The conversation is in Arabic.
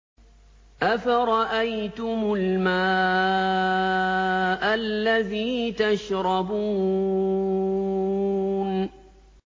أَفَرَأَيْتُمُ الْمَاءَ الَّذِي تَشْرَبُونَ